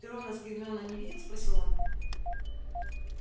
ты рона с гермионой не видел спросил он